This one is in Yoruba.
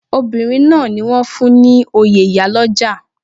Obinrin náà ni wọ́n fún ní oyè ìyálọ́jà.